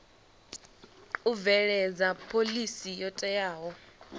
u bveledza phoḽisi yo teaho